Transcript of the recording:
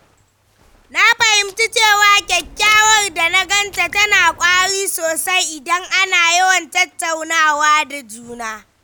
Na fahimci cewa kyakkyawar dangantaka tana ƙwari sosai idan ana yawan tattaunawa da juna.